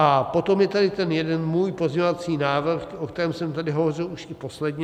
A potom je tady ten jeden můj pozměňovací návrh, o kterém jsem tady hovořil už i posledně.